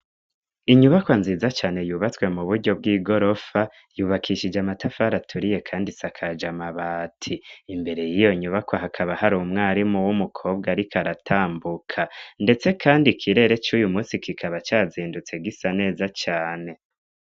Inyubakwa nziza cane yubatswe mu buryo bw'igorofa yubakishije amatafara aturiye kandi isakaje amabati, imbere yiyo nyubako hakaba hari umwarimu w'umukobwa ariko aratambuka ndetse kandi ikirere cuyu munsi kikaba cazindutse gisa neza cane.